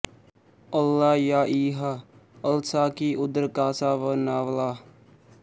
ਅੱਲਾ ਯਾ ਇਹਾ ਅਲਸਾਕੀ ਉਦਰ ਕਾਸਾ ਵ ਨਾਵਲ੍ਹਾ